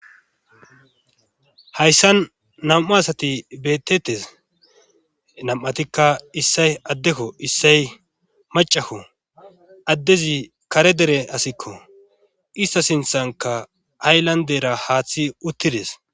Hayssan nam7u asati beettettes nam7atikka issay addekko issay macakko addezi kare dere asikko ista sinthanka ayllandera haaththi uttides